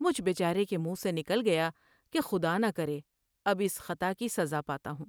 مجھ بیچارے کے منہ سے نکل گیا کہ خدا نہ کرے ، اب اس خطا کی سزا پاتا ہوں ۔